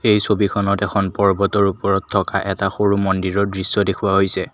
এই ছবিখনত এখন পৰ্বতৰ ওপৰত থকা এটা সৰু মন্দিৰৰ দৃশ্য দেখুওৱা হৈছে।